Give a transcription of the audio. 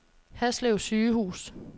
Haslev Sygehus